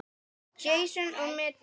Jason og Medea.